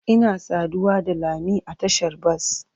Ina saduwa da lami a tashar bas.